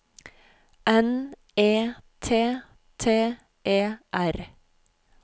N E T T E R